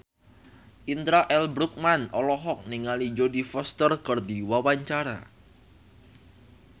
Indra L. Bruggman olohok ningali Jodie Foster keur diwawancara